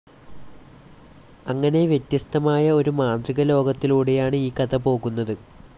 അങ്ങനെ വ്യത്യസ്തമായ ഒരു മാന്ത്രികലോകത്തിലൂടെയാണ് ഈ കഥ പോകുന്നത്.